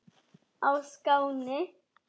á Skáni.